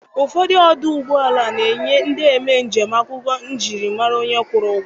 Ụfọdụ ọdụ ụgbọala na-enye ndị eme njem akwụkwọ njiri mara onye kwụrụ ụgwọ.